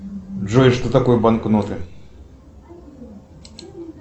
джой что такое банкноты